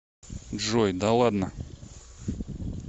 джой да ладно